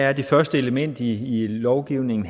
er det første element i lovgivningen